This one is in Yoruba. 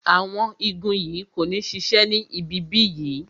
Awon igun yìí kò ní sise ni ibi bí yìí